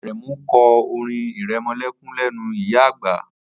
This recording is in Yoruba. Aremu kọ́ orin irẹmọlẹ́kún lẹ́nu ìyá àgbà